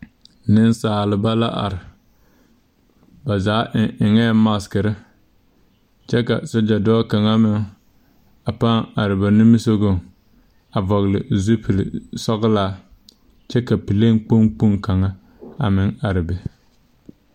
Niŋsaalba la are ba zaa eŋ eŋee magsire kyɛ ka polisi dɔɔ kaŋa meŋ are ba nimisogɔŋ a vɔgli zupile sɔglaakyɛ ka pilen kpoŋ kpoŋ kaŋa meŋ are a be.